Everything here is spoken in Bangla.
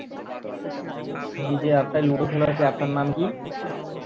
বীজে app টা লুডো খেলা হয়েছে app টার নাম কি?